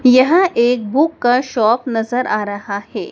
यह एक बुक का शॉप नजर आ रहा है।